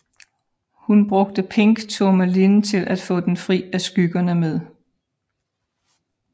Hun brugte Pink Tourmaline til at få den fri af skyggerne med